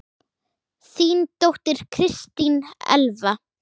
Þín dóttir, Kristín Elfa.